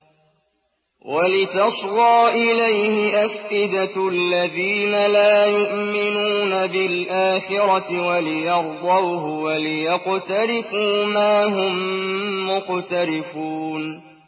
وَلِتَصْغَىٰ إِلَيْهِ أَفْئِدَةُ الَّذِينَ لَا يُؤْمِنُونَ بِالْآخِرَةِ وَلِيَرْضَوْهُ وَلِيَقْتَرِفُوا مَا هُم مُّقْتَرِفُونَ